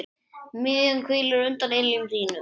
MIÐJAN HVÍLIR UNDIR ILJUM ÞÍNUM